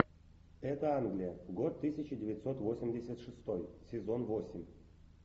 это англия год тысяча девятьсот восемьдесят шестой сезон восемь